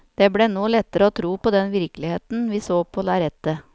Det ble nå lettere å tro på den virkeligheten vi så på lerretet.